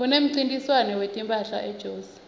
kunemncintiswano wetimphahla ejozi